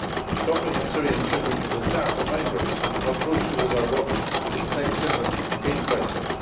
The suffering of Syrian children is a stark reminder of how crucial is our work to protect children in crisis.